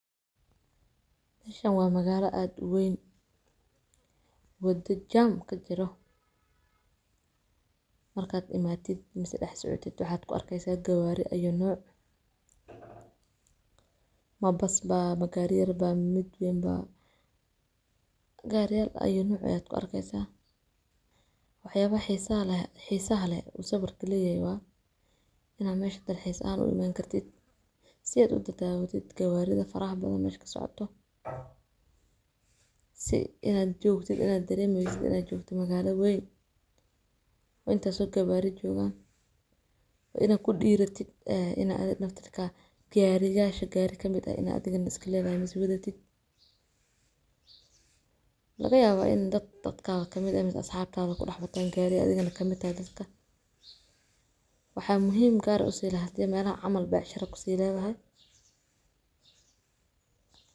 Meshaan waa magaalo aad u weyn wado jaam ka jiro marka aad imato ama aad dhex socoto maxaad ku arkeysaa? Gawari ayay nooc ma bus baa? Ma gaari yar baa? Ma mid weyn baa? Gawari ayay nooc ayaad ku arkeysaa, waxyaalaha xisaaha leh oo sawirka leeyahay ayaa in meesha dalxiis ahaan u imani kartid si aad u daawatid gawaridha faraha badan meesha socdaan si aad u dareentid in aad joogto magalo weyn oo intaas oo gawari joogaan waa inaad ku diratid in gawiyasha gaari ka mid ah inaad iska leedahay misee wadatid. Laga yaabaa in dad dadkaaga ka mid ah ama asxaabtaada ku dhex wataan adigana ka mid tahay dadka. waxaa muhiim gaar ah u sii leeyahay in meelahaas camal beecsharo ku sii leeyihiin.